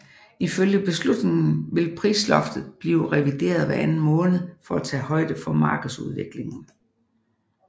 Ifølge beslutningen vil prisloftet blive revideret hver anden måned for at tage højde for markedsudviklingen